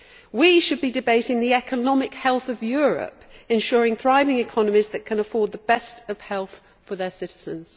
We should be debating the economic health of Europe ensuring thriving economies that can afford the best of health for their citizens.